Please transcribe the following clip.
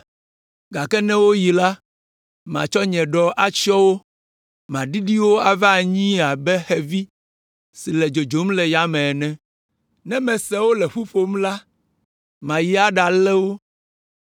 Gake ne woyi la, matsɔ nye ɖɔ atsyɔ wo; maɖiɖi wo ava anyie abe xevi si le dzodzom le yame ene. Ne mese wole ƒu ƒom la, mayi aɖalé wo.